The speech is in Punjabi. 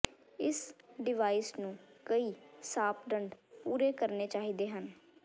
ਇਸ ਡਿਵਾਈਸ ਨੂੰ ਕਈ ਮਾਪਦੰਡ ਪੂਰੇ ਕਰਨੇ ਚਾਹੀਦੇ ਹਨ